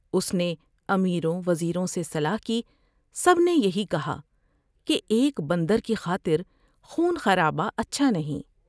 اس نے امیروں وزیروں سے صلاح کی ۔سب نے یہی کہا اس نے کہ ایک بندر کی خاطر خون خرابہ اچھا نہیں ۔